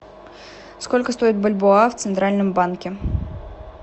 сколько стоит бальбоа в центральном банке